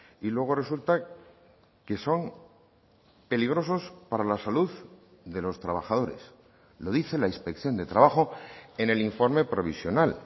y luego resulta que son peligrosos para la salud de los trabajadores lo dice la inspección de trabajo en el informe provisional